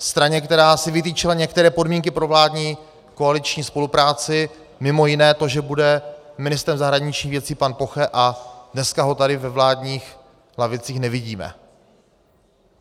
Straně, která si vytyčila některé podmínky pro vládní koaliční spolupráci, mimo jiné to, že bude ministrem zahraničních věcí pan Poche, a dneska ho tady ve vládních lavicích nevidíme.